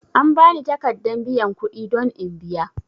An bani takaddan biyan kudi don in biya.